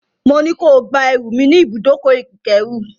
Mo ní ko gba ẹrù mi ní ibùdókọ̀-ìkérù.